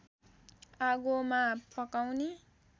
आगोमा पकाउने